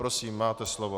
Prosím, máte slovo.